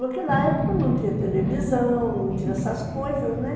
Naquela época não tinha televisão, não tinha essas coisas, né?